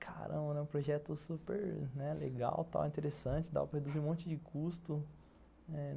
Caramba, é um projeto super, né, legal, tal, interessante, dá para reduzir um monte de custo.